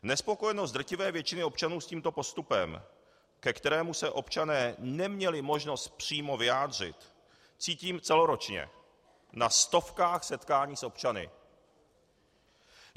Nespokojenost drtivé většiny občanů s tímto postupem, ke kterému se občané neměli možnost přímo vyjádřit, cítím celoročně, na stovkách setkání s občany.